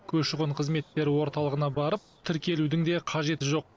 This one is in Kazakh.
көші қон қызметтері орталығына барып тіркелудің де қажеті жоқ